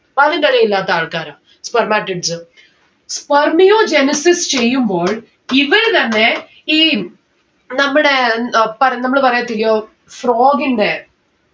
വാലും തലേം ഇല്ലാത്ത ആൾക്കാരാ spermatids. Spermiogenesis ചെയ്യുമ്പോൾ ഇവര് തന്നെ ഈം നമ്മടെ ഏർ പ നമ്മള് പറയത്തില്ല്യോ frog ന്റെ